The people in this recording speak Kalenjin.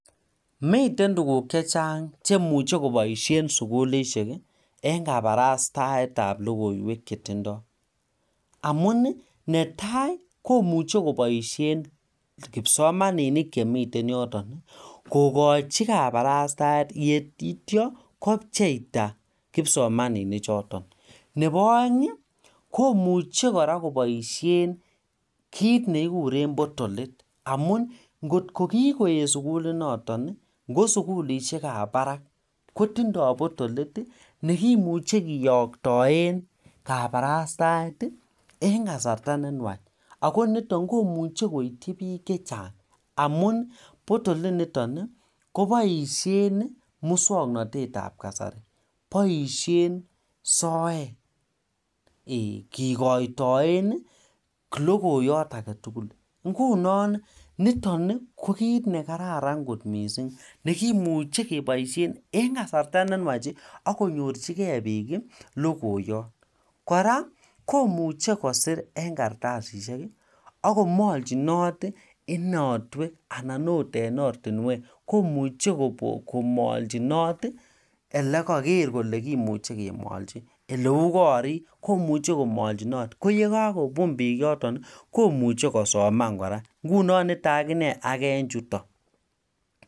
Miten tuguk chechang cheimuche koboisien sukulisiek ii en kabarastaetab lokoiywek chetindoi amun netai komuche koboisien kipsomaninik chemiten yoton kokochi kaparastaet yeityo kopcheita kipsomaninik choton nebo aeng ii komuche kora koboisien kit negikuren potolit amun kot kokigoet sukuliniton ingo sukulisiek kab parak kotindoi potolit nekimuche kiyoktien kaparastaet en kasarta nenwach ako niton komuche koityi biik chechang amun potolit niton koboisien muswongnotet tab kasari boisien soet ee kigoitoen logoyot aketugul ingunon niton kobkit nekararan kot mising nekimuche keboisien en kasarta nenwach ako konyorchigei biik logoyot kora komuche kosir en kartasisiek aka komolchinot inotwek anan ot artinwek imuchel komolchinot elegeeere kole kimuchi Komolchiton elegereei kole kimuchi kemolchi ole uu korik ole yekokobun biik komuche kosoman ngunon niton aginee age en chuton